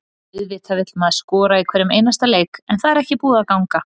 Auðvitað vill maður skora í hverjum einasta leik en það er ekki búið að ganga.